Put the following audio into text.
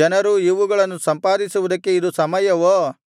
ಜನರೂ ಇವುಗಳನ್ನು ಸಂಪಾದಿಸುವುದಕ್ಕೆ ಇದು ಸಮಯವೋ